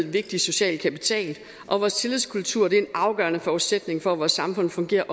vigtig social kapital og vores tillidskultur er en afgørende forudsætning for at vores samfund fungerer